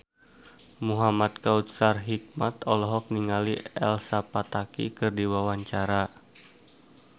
Muhamad Kautsar Hikmat olohok ningali Elsa Pataky keur diwawancara